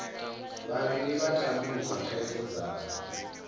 vhavhili vha tandulula thaidzo dzavho